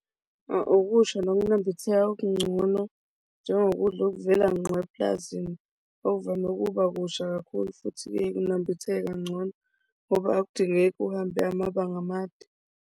Okusha nokunambitheka okungcono njengokudla okuvela ngqo epulazini, okuvame ukuba kusha kakhulu futhi kunambitheka kangcono. Ngoba akudingeki uhambe amabanga amade.